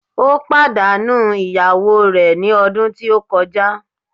Ó pàdánù ìyàwó rè ní ọdún tí ó kọjá